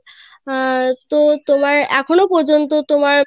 আহ তো তোমার এখনো পর্যন্ত তোমার